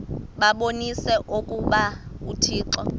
babonise okokuba uthixo